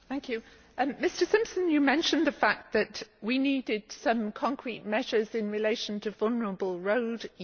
Mr Simpson, you mentioned the fact that we needed some concrete measures in relation to vulnerable road users.